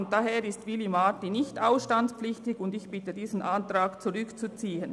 Demnach ist Willy Marti nicht ausstandspflichtig, und ich bitte darum, diesen Antrag zurückzuziehen.